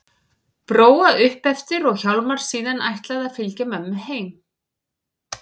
Bróa upp eftir og Hjálmar síðan ætlað að fylgja mömmu heim.